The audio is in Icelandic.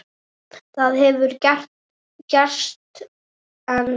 Það hefur ekki gerst enn.